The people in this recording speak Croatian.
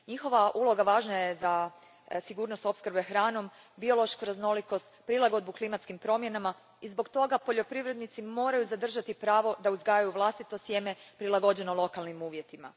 Njihova uloga važna je za sigurnost opskrbe hranom, biološku raznolikost, prilagodbu klimatskim promjenama i zbog toga poljoprivrednici moraju zadržati pravo da uzgajaju vlastito sjeme, prilagođeno lokalnim uvjetima.